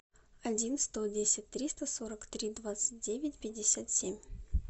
один сто десять триста сорок три двадцать девять пятьдесят семь